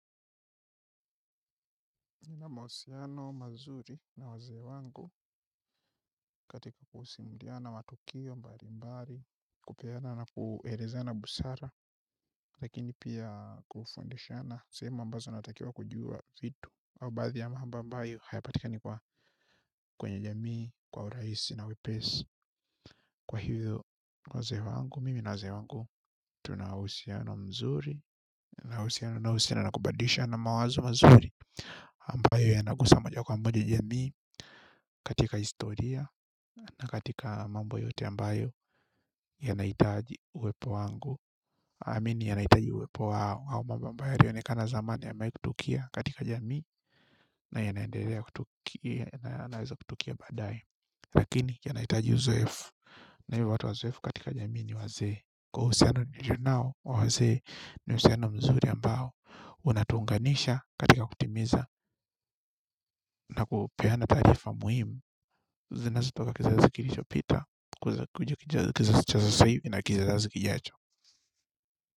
Nina mahusiano mazuri na wazee wangu katika kusaidiana matukio mbali mbali kupeana na kuelezana busara lakini pia kufundishana sehemu ambazo natakiwa kujua vitu au baadhi ya mambo ambayo hayapatikani kwa kwenye jamii kwa urahisi na wepesi kwa hivyo wazee wangu mimi na wazee wangu tuna uhusiano mzuri na uhusiano na kubadilishana mawazo mazuri ambayo yanagusa moja kwa moja jamii katika historia. Na katika mambo yote ambayo yanahitaji uwepo wangu amini yanahitaji uwepo wao hao mambo mabaya yalionekana zamani yamewahi kutokea katika jamii. Na ya naendelea kutukia, yanaweza kutokea badae. Lakini yanahitaji uzoefu. Na hio watu wazoefu katika jamii ni wazee kwa huo husiano nilio nao wa wazee ni husiano mzuri ambao unatuunganisha katika kutimiza na kupeana tarifa muhimu. Zinazitoka kizazi kilichopita kuanza kukuja kizazi cha sasa hivi na kizazi kijacho.